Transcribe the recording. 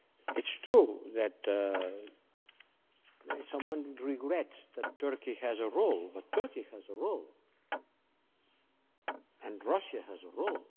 It's true that some regret that Turkey has a role, but Turkey has a role and Russia has a role.